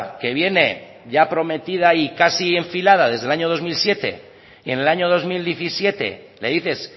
que viene ya prometida y casi enfilada desde el año dos mil siete y en el año dos mil diecisiete le dices